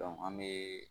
an be